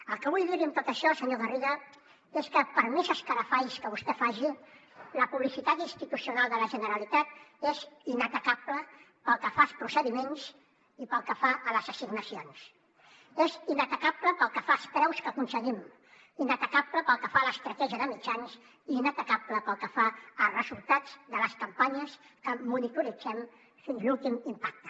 el que vull dir li amb tot això senyor garriga és que per més escarafalls que vostè faci la publicitat institucional de la generalitat és inatacable pel que fa als procediments i pel que fa a les assignacions és inatacable pel que fa als preus que aconseguim inatacable pel que fa a l’estratègia de mitjans i inatacable pel que fa als resultats de les campanyes que en monitorem fins l’últim impacte